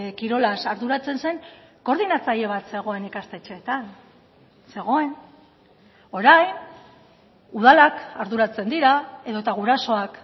kirolaz arduratzen zen koordinatzaile bat zegoen ikastetxeetan zegoen orain udalak arduratzen dira edota gurasoak